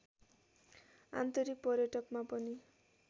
आन्तरिक पर्यटकमा पनि